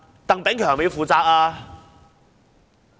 鄧炳強要負責嗎？